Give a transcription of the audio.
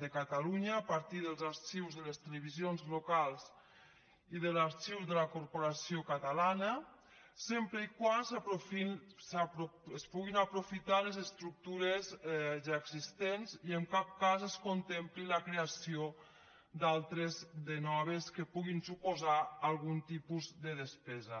de catalunya a partir dels arxius de les televisions locals i de l’arxiu de la corporació catalana sempre que es puguin aprofitar les estructures ja existents i en cap cas es contempli la creació d’altres de noves que puguin suposar algun tipus de despesa